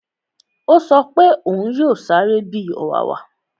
Ó sọ pé òún yóò sáré bi ọ̀wàwà